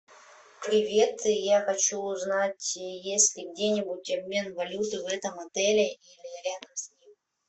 привет я хочу узнать есть ли где нибудь обмен валюты в этом отеле или рядом с ним